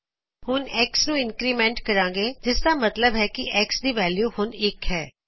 ਹੂਣ X ਨੂ increment ਕਰਾਂਗੇ ਜਿਸਦਾ ਮਤਲਬ ਹੈ ਕਿ X ਦੀ ਵੈਲਯੂ ਹੁਣ ਇਕ ਹੈ